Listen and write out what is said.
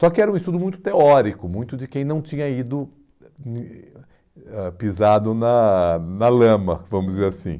Só que era um estudo muito teórico, muito de quem não tinha ido ãh pisado na na lama, vamos dizer assim.